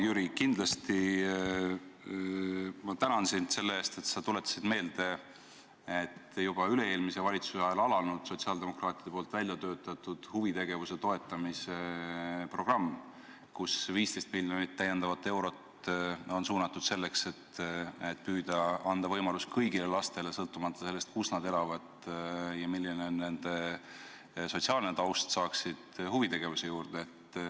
Jüri, kindlasti ma tänan sind selle eest, et sa tuletasid meelde, et juba üle-eelmise valitsuse ajal käivitati sotsiaaldemokraatide välja töötatud huvitegevuse toetamise programm, kus 15 miljonit täiendavat eurot on suunatud selleks, et püüda anda võimalus kõigile lastele, sõltumata sellest, kus nad elavad ja milline on nende sotsiaalne taust, tegeleda huvitegevusega.